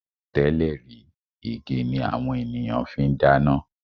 Tẹ́lẹ̀ rí, igi ni àwọn ènìyàn fi ń dáná